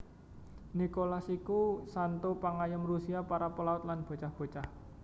Nikolas iku santo pangayom Rusia para pelaut lan bocah bocah